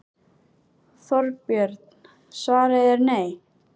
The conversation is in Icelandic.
Þorbjörn: Svarið er nei?